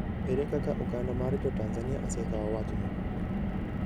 Ere kaka oganda mar Jo-Tanzania osekawo wachno?